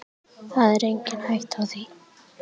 Það er engin hætta á því.